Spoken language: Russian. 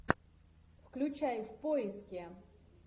включай в поиске